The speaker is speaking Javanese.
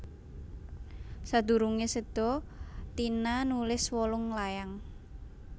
Sadurunge seda Tina nulis wolung layang